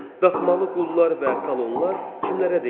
Daxmalı qullar və kolonlar kimlərə deyilir?